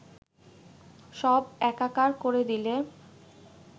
সব একাকার করে দিলে